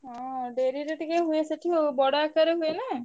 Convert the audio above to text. ହଁ ଡେରିରେ ଟିକେ ହୁଏ ସେଠି ଆଉ ବଡ ଆକାରେ ହୁଏ ନା।